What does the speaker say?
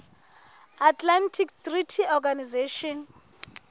atlantic treaty organization